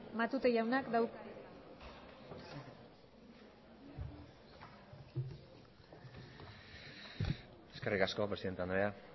matute jaunak dauka hitza eskerrik asko presidente andrea